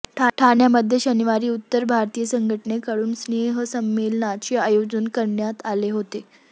ठाण्यामध्ये शनिवारी उत्तर भारतीय संघटनेकडून स्नेहसंमेलनाचे आयोजन करण्यात आले होते